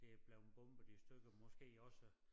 Det er blevet bombet i stykker måske også